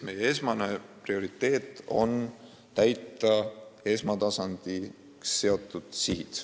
Meie põhiline prioriteet on täita esmatasandile seatud sihid.